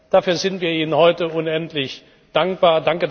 Dafür sind wir Ihnen heute unendlich dankbar.